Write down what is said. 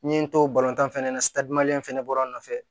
N ye n to tan fɛnɛ na in fɛnɛ bɔra n nɔfɛ